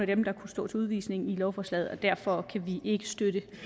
dem der kunne stå til udvisning i lovforslaget og derfor kan vi ikke støtte